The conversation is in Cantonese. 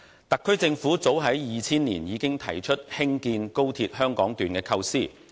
特區政府早於2000年已經提出興建高鐵香港段的構思。